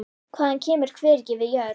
Hann kemur hvergi við jörð.